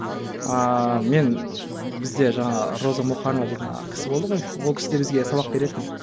ааа мен бізде жаңағы роза мұқанова дейтін кісі болды ғой ол кісі де бізге сабақ беретін